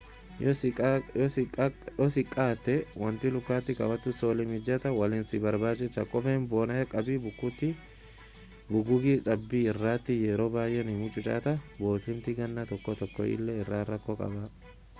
yoo xiqqaaate wanti lukatti kaawwattu soolii mijataa waliin si barbaachisa kopheen bonaa cabbii fi bugugii cabbii irratti yeroo baay'ee ni mucucaata boottiimti gannaa tokko tokko illee rakkoo qaba